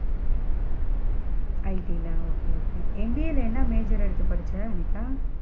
IT ல okay okay MBA ல என்ன major எடுத்து படிச்ச அனிதா?